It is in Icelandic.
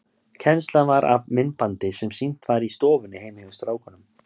Kennslan var af myndbandi sem sýnt var í stofunni heima hjá strákunum.